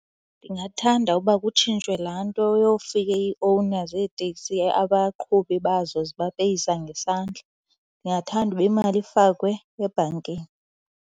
Ndingathanda ukuba kutshintshwe laa nto yofika ii-owner zeeteksi abaqhubi bazo zibapeyisa ngesandla. Ndingathanda uba imali ifakwe ebhankini.